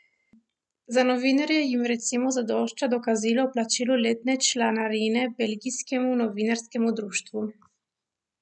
Za novinarje jim recimo zadošča dokazilo o plačilu letne članarine belgijskemu novinarskemu društvu.